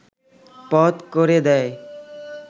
পথ করে দেয়